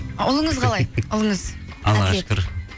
ұлыңыз қалай ұлыңыз аллаға шүкір